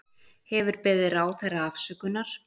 Hefur beðið ráðherra afsökunar